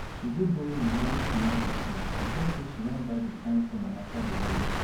she go borrow moni wey she no fit pay because sey she wan buy di kind phone amaka dey use.